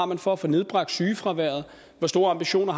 for at få nedbragt sygefraværet hvor store ambitioner